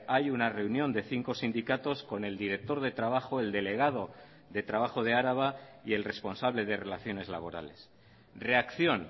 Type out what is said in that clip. hay una reunión de cinco sindicatos con el director de trabajo el delegado de trabajo de araba y el responsable de relaciones laborales reacción